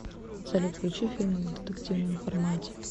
салют включи фильмы в детективном формате